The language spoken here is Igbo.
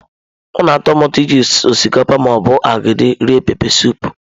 Ọ na-atọ m ụtọ iji osikapa ma ọ bụ agidi rie pepesụpụ.